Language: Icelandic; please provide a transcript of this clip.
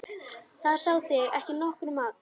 Það sá þig ekki nokkur maður!